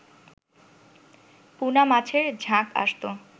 পুনা মাছের ঝাঁক আসত